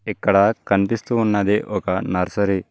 ఇక్కడ కనిపిస్తూ ఉన్నది ఒక నర్సరీ.